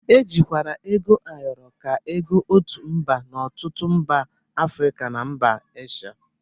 E jikwara ego ayọrọ ka ego otu mgbe n'ọtụtụ mba Afrịka na mba Esha